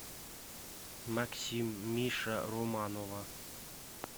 максим миша романова